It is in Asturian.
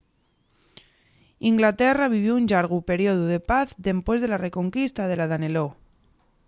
inglaterra vivió un llargu periodu de paz dempués de la reconquista de la danelaw